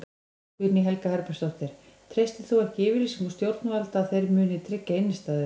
Guðný Helga Herbertsdóttir: Treystir þú ekki yfirlýsingum stjórnvalda að þeir muni tryggja innistæður?